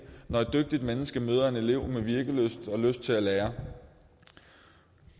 når et dygtigt menneske møder en elev med virkelyst og lyst til at lære